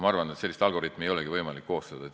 Ma arvan, et sellist algoritmi ei olegi võimalik koostada.